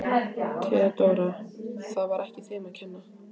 THEODÓRA: Það var ekki þeim að kenna.